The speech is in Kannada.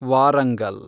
ವಾರಂಗಲ್